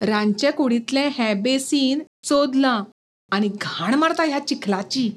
रांदचें कुडींतलें हें बेसीन चोंदलां आनी घाण मारता ह्या चिखलाची.